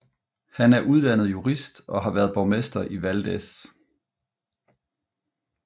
Han er uddannet jurist og har været borgmester i Valdez